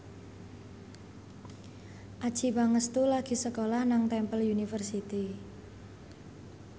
Adjie Pangestu lagi sekolah nang Temple University